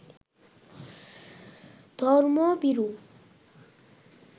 ধর্মভীরু